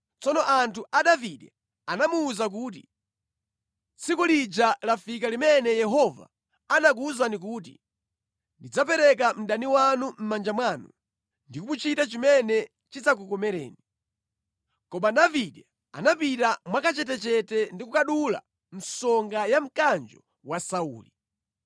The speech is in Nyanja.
Tsono anthu a Davide anamuwuza kuti, “Tsiku lija lafika limene Yehova anakuwuzani kuti, ‘Ndidzapereka mdani wanu mʼmanja mwanu, ndi kumuchita chimene chidzakukomereni.’ ” Koma Davide anapita mwakachetechete ndi kukadula msonga ya mkanjo wa Sauli.